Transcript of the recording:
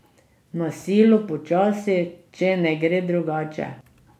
Na silo počasi, če ne gre drugače!